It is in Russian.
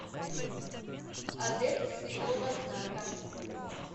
адепт святого знака